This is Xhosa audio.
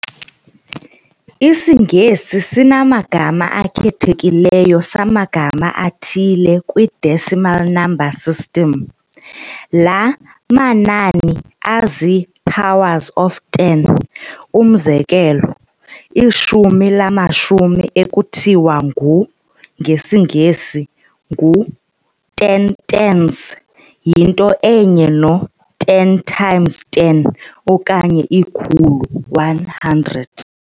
IsiNgesi sinamagama akhethekileyo samagama athile kwi-decimal number system, laa manani azii-powers of ten. Umzekelo, ishumi lamashumi ekuthiwa ngesiNgesi u-ten tens, yinto enye no-ten times ten, okanye ikhulu one hundred.